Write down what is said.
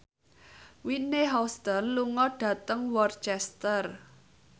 Whitney Houston lunga dhateng Worcester